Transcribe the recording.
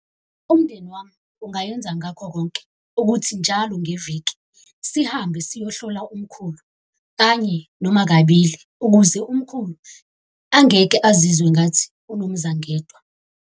Umndeni wami ungayenza ngakho konke ukuthi njalo ngeviki sihambe siyohlola umkhulu kanye, noma kabili ukuze umkhulu angeke azizwe engathi unomzangedwa.